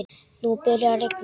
Nú byrjaði að rigna.